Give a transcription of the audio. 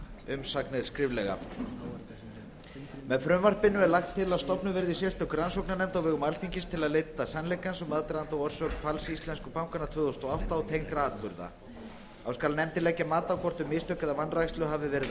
umsagnir skriflega með frumvarpinu er lagt til að stofnuð verði sérstök rannsóknarnefnd á vegum alþingis til að leita sannleikans um aðdraganda og orsök falls íslensku bankanna tvö þúsund og átta og tengdra atburða þá skal nefndin leggja mat á hvort um mistök eða vanrækslu hafi verið að